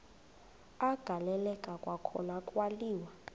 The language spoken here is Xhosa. agaleleka kwakhona kwaliwa